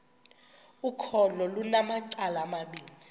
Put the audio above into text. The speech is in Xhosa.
ukholo lunamacala amabini